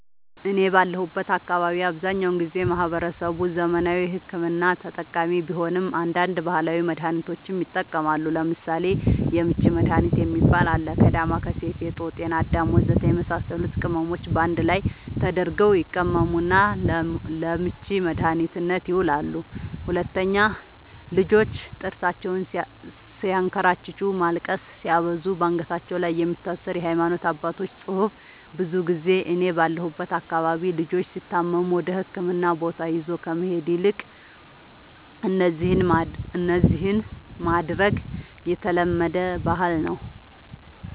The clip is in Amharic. እኔ ባለሁበት አካባቢ አብዛኛውን ጊዜ ማህበረሰቡ ዘመናዊ ሕክምና ተጠቃሚ ቢሆንም አንዳንድ ባህላዊ መድሃኒቶችንም ይጠቀማሉ ለምሳሌ:- የምች መድሃኒት የሚባል አለ ከ ዳማከሲ ፌጦ ጤናአዳም ወዘተ የመሳሰሉት ቅመሞች ባንድ ላይ ተደርገው ይቀመሙና ለምች መድኃኒትነት ይውላሉ 2, ልጆች ጥርሳቸውን ስያንከራጭጩ ማልቀስ ሲያበዙ ባንገታቸው ላይ የሚታሰር የሃይማኖት አባቶች ፅሁፍ ብዙ ጊዜ እኔ ባለሁበት አካባቢ ልጆች ሲታመሙ ወደህክምና ቦታ ይዞ ከመሄድ ይልቅ እነዚህን ማድረግ የተለመደ ባህል ነዉ